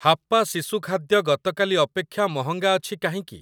ହାପ୍ପା ଶିଶୁ ଖାଦ୍ୟ ଗତକାଲି ଅପେକ୍ଷା ମହଙ୍ଗା ଅଛି କାହିଁକି?